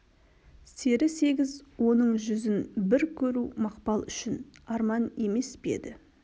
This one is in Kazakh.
сері сегіз оның жүзін бір көру мақпал үшін арман емес пе еді